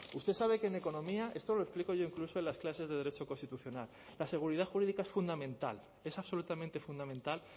usted sabe que en economía esto lo explico yo incluso en las clases de derecho constitucional la seguridad jurídica es fundamental es absolutamente fundamental